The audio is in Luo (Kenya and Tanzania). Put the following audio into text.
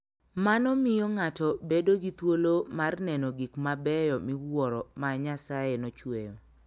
Mano miyo ng'ato bedo gi thuolo mar neno gik mabeyo miwuoro ma Nyasaye nochueyo.